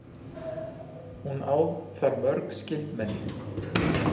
Hún á þar mörg skyldmenni.